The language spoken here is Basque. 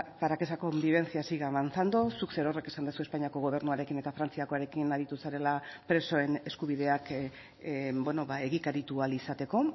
para que esa convivencia siga avanzando zuk zerorrek esan duzu espainiako gobernuarekin eta frantziakoarekin aritu zarela presoen eskubideak egikaritu ahal izateko